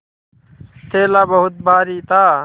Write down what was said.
थैला बहुत भारी था